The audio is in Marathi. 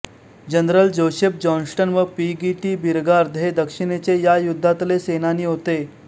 जनरल जोसेफ जॉन्स्टन व पी गी टी बीरगार्द हे दक्षिणेचे या युद्धातले सेनानी होते